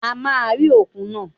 A máa rí òkun náà